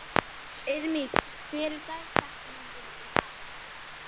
Irmý, hver er dagsetningin í dag?